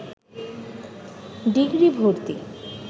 degree ভর্তি